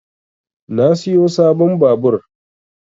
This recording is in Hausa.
Na siyo sabon babur